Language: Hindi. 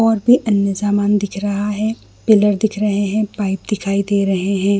और भी अन्य समान दिख रहा है पिलर दिख रहै है पाइप दिखाई दे रहै है।